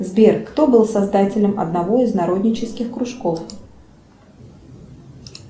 сбер кто был создателем одного из народнических кружков